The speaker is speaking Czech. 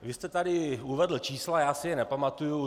Vy jste tady uvedl čísla, já si je nepamatuji.